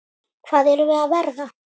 Hvað erum við að verða?